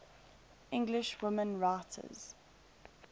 english women writers